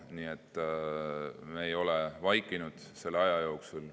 Nii et me ei ole vaikinud selle aja jooksul.